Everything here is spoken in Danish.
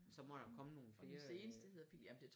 Så må der jo komme nogle flere øh